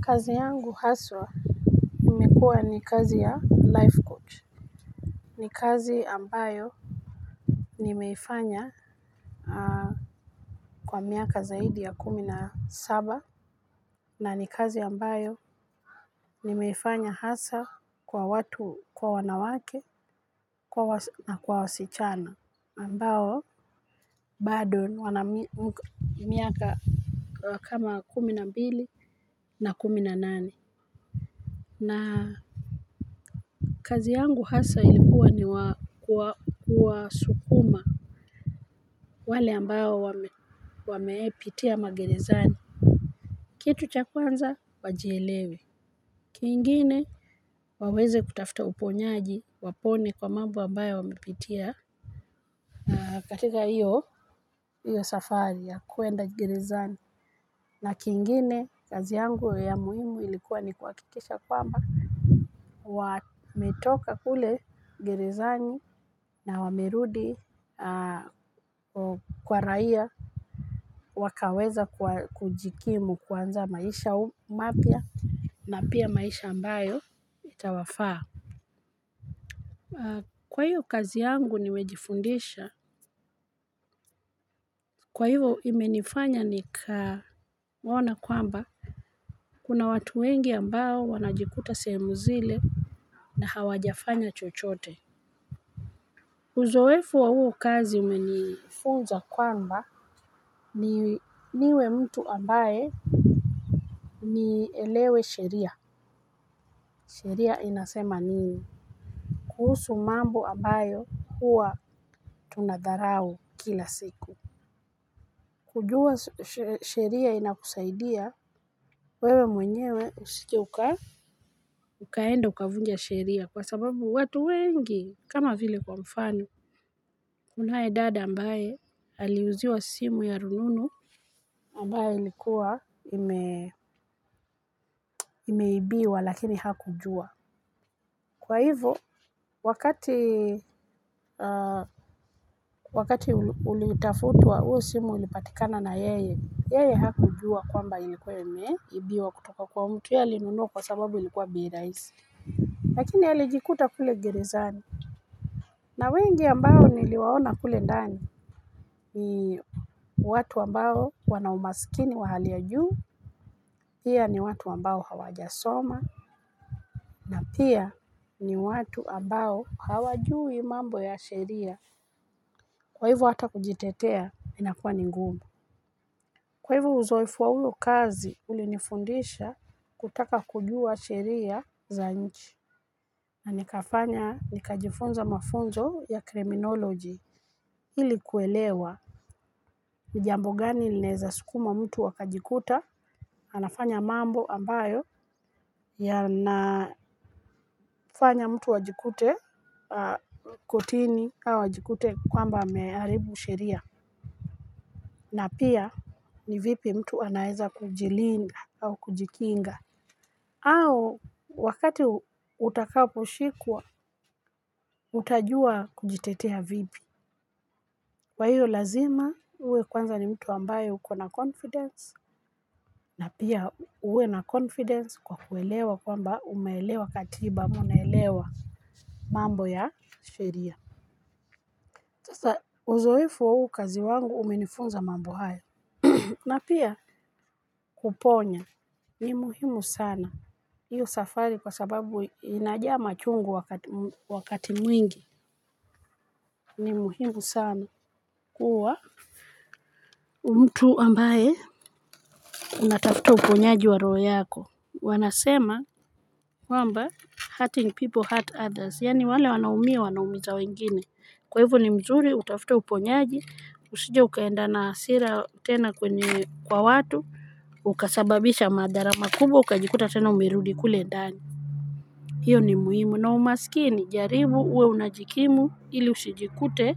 Kazi yangu haswa imekuwa ni kazi ya life coach. Ni kazi ambayo nimeifanya kwa miaka zaidi ya kumi na saba. Na ni kazi ambayo nimeifanya hasa kwa watu, kwa wanawake na kwa wasichana ambao bado wana miaka kama kumi na mbili na kumi na nane. Na kazi yangu haswa ilikuwa ni kuwasukuma wale ambao wamewahipitia magerezani, kitu cha kwanza wajielewe kingine waweze kutafta uponyaji wapone kwa mambo ambayo wamepitia katika hiyo hiyo safari ya kuenda gerezani na kingine kazi yangu ya muhimu ilikuwa ni kuhakikisha kwamba wametoka kule gerezani na wamerudi kwa raia wakaweze kujikimu kuanza maisha mapya. Na pia maisha ambayo itawafaa. Kwa hiyo kazi yangu nimejifundisha kwa hivyo imenifanya nika ona kwamba kuna watu wengi ambao wanajikuta sehemu zile. Na hawajafanya chochote uzoefu wa hiyo kazi imenifunza kwamba niwe mtu ambaye ni elewe sheria, sheria inasema nini. Kuhusu mambo ambayo huwa tunadharau kila siku. Kujua sheria inakusaidia wewe mwenyewe usijeuka, ukaenda ukavunja sheria kwa sababu watu wengi kama vile kwa mfano. Kunaye dada ambaye aliuziwa simu ya rununu. Ambayo ilikuwa imeibiwa lakini hakujua. Kwa hivyo, wakati ulitafutua uo simu ilipatikana na yeye, yeye hakujua kwamba ilikuwa imeibiwa kutoka kwa mtu yeye alinunuwa kwa sababu ilikuwa bei raisi. Lakini alijikuta kule gerezani. Na wengi ambao niliwaona kule ndani ni watu ambao wanaumasikini wa hali ajuu, pia ni watu ambao hawajasoma na pia ni watu ambao hawajui mambo ya sheria kwa hivo hata kujitetea inakuwa ningumu. Kwa hivo uzoefu wa huyu kazi ulinifundisha kutaka kujua sheria za nchi. Na nikafanya nikajifunza mafunzo ya kriminoloji ilikuwelewa. Nijambo gani leza sukuma mtu wakajikuta, anafanya mambo ambayo, yanafanya mtu wajikute kotini, au wajikute kwamba amearibu sheria. Na pia ni vipi mtu anaeza kujilinga au kujikinga, au wakati utakapo shikuwa, utajua kujitetea vipi. Kwa hiyo lazima uwe kwanza ni mtu wambaye ukona confidence. Na pia uwe na confidence kwa kuelewa kwamba umaelewa katiba munaelewa mambo ya sheria sasa uzoefu wa huu kazi wangu umenifunza mambo haya. Na pia kuponya ni muhimu sana. Hiyo safari kwa sababu inajama chungu wakati mwingi. Ni muhimu sana kuwa mtu ambaye unatafuta uponyaji wa roo yako. Wanasema kwamba hurting people hurt others yani wale wanaumia wanaumiza wengine. Kwa hivu ni mzuri utafuto uponyaji usije ukaenda na asira tena kwenye kwa watu ukasababisha madharama kubo ukajikuta tena umerudi kule ndani. Hiyo ni muhimu na umasikini jaribu uwe unajikimu ili usijikute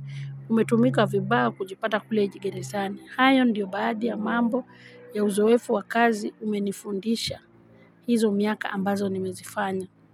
umetumika vibaya kujipata kule geresani. Hayo ndiyo baadi ya mambo ya uzowefu wakazi umenifundisha hizo miaka ambazo nimezifanya.